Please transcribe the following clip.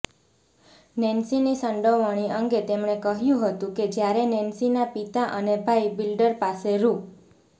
નેન્શીની સંડોવણી અંગે તેમણે કહ્યું હતું કે જ્યારે નેન્શીના પિતા અને ભાઈ બિલ્ડર પાસે રૂ